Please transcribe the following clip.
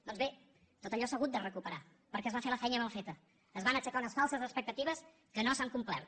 doncs bé tot allò s’ha hagut de recuperar perquè es va fer la feina mal feta es van aixecar unes falses expecta·tives que no s’han complert